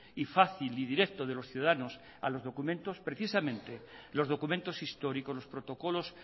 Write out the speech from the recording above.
y fácil y directo de los ciudadanos a los documentos precisamente los documentos históricos los protocolos